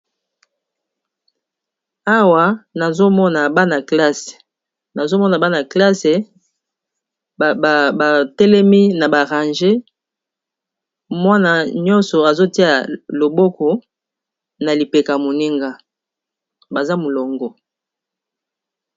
Awa namoni balakisi biso eza esika mokoboye eza bana kelasi mwana nyoso azotiya loboko likolo ys lipeka ya mininga naye